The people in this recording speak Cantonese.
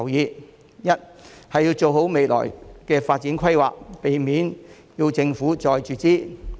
第一，要做好未來的發展規劃，避免政府要再注資。